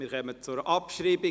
Wir kommen zur Abschreibung.